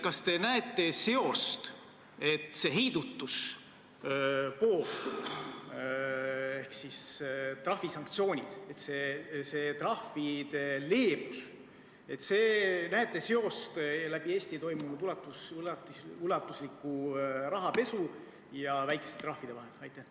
Kas te näete seost, mõeldes sellele heidutusele, trahvide leebusele, läbi Eesti toimunud ulatusliku rahapesu ja väikeste trahvide vahel?